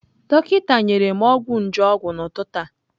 Dọkịta nyere m ọgwụ nje ọgwụ n'ụtụtụ a.